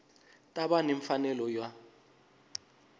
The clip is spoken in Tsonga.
ta va ni mfanelo yo